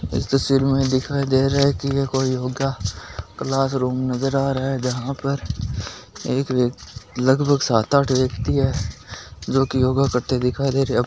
इस तस्वीर में दिखाई दे रहा है की यह कोई योगा क्लासरूम नजर आ रहा है जहा पर एक व्यक्ति लगभग सात आठ व्यक्ति है जो की योगा करते दिखाई दे रहे है अब --